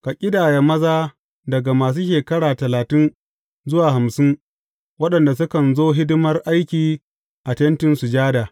Ka ƙidaya maza daga masu shekara talatin zuwa hamsin waɗanda sukan zo hidimar aiki a Tentin Sujada.